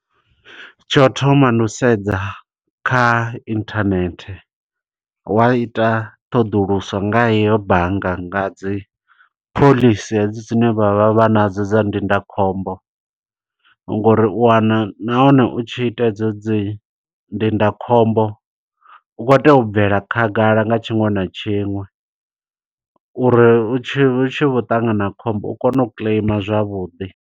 Tsho u thoma ndi u sedza kha internet, wa ita ṱhoḓuluso nga hiyo bannga nga dzi phoḽisi hedzo dzine vha vha vha nadzo dza ndindakhombo. Ngo uri u wana nahone u tshi ita hedzo dzi ndindakhombo, u khou tea u bvela khagala nga tshiṅwe na tshiṅwe. Uri ri tshi, ri tshi vho ṱangana na khombo, u kone u kiḽeima zwavhuḓi.